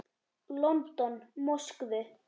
London, Moskvu.